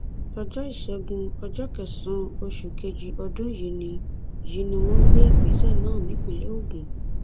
ọjọ ìṣẹgun ọjọ kẹsànán oṣù kejì ọdún yìí ni yìí ni wọn gbé ìgbésẹ náà nípínlẹ ogun